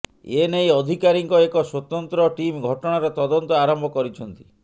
ଏନେଇ ଅଧିକାରୀଙ୍କ ଏକ ସ୍ୱତନ୍ତ ଟିମ୍ ଘଟଣାର ତଦନ୍ତ ଆରମ୍ଭ କରିଛନ୍ତି